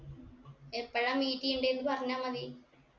എപ്പോഴാ meet എയ്യണ്ടേന്ന് പറഞ്ഞാ മതി